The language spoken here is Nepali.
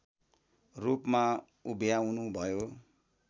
रूपमा उभ्याउनुभयो